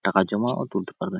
টাকা জমা ও তুলতে পারবে |